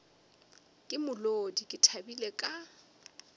ka molodi ke thabile ka